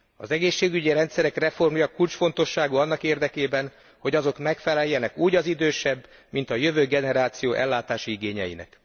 Az egészségügyi rendszerek reformja kulcsfontosságú annak érdekében, hogy azok megfeleljenek úgy az idősebb, mint a jövő generáció ellátási igényeinek.